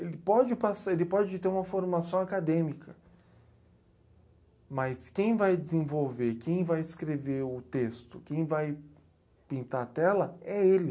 Ele pode passa. Ele pode ter uma formação acadêmica, mas quem vai desenvolver, quem vai escrever o texto, quem vai pintar a tela, é ele.